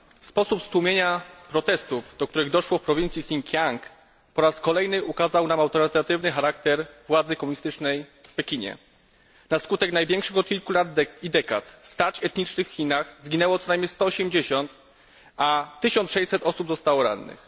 Sposób stłumienia protestów, do których doszło w prowincji Sinkiang, po raz kolejny ukazał nam autorytatywny charakter władzy komunistycznej w Pekinie. Na skutek największych od kilku lat i dekad starć etnicznych w Chinach zginęło co najmniej 180, a 1600 osób zostało rannych.